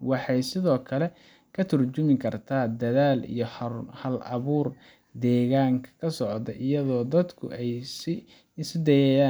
Waxay sidoo kale ka tarjumi kartaa dadaal iyo hal-abuur deegaanka ka socda, iyadoo dadku ay isku dayayaan